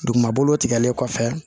Duguma bolo tigɛlen kɔfɛ